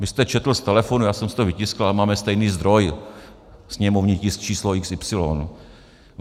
Vy jste četl z telefonu, já jsem si to vytiskl, ale máme stejný zdroj - sněmovní tisk číslo xy.